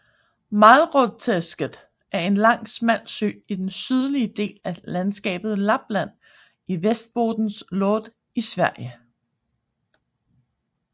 Malåträsket er en lang smal sø i den sydlige del af landskapet Lappland i Västerbottens län i Sverige